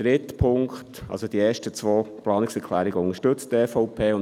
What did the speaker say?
Die EVP unterstützt also die ersten zwei Planungserklärungen.